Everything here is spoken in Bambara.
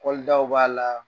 daw b'a la